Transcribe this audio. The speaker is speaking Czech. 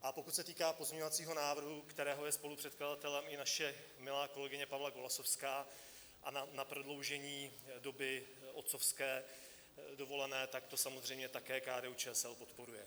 A pokud se týká pozměňovacího návrhu, kterého je spolupředkladatelem i naše milá kolegyně Pavla Golasowská, a na prodloužení doby otcovské dovolené, tak to samozřejmě také KDU-ČSL podporuje.